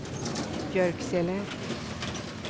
Björksele